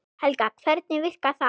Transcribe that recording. Helga: Hvernig virkar það?